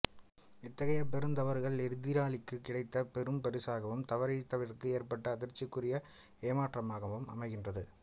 இத்தகைய பெருந்தவறுகள் எதிராளிகளுக்குக் கிடைத்தப் பெரும்பரிசாகவும் தவறிழைத்தவருக்கு ஏற்பட்ட அதிர்ச்சிக்குரிய ஏமாற்றமாகவும் அமைகின்றது